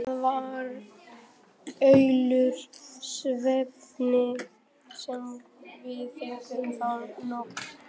Það var allur svefninn sem við fengum þá nótt.